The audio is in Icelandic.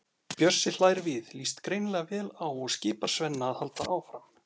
Bjössi hlær við, líst greinilega vel á og skipar Svenna að halda áfram.